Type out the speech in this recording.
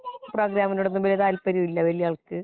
പ്രോഗ്രാമിനോട് ഒന്നും വല്യ താല്പര്യമില്ല വല്യ ആൾക്ക്